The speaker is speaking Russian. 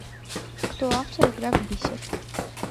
кто автор игра в бисер